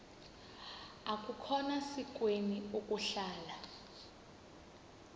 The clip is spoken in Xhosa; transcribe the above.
akukhona sikweni ukuhlala